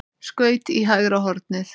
Skaut í hægra hornið.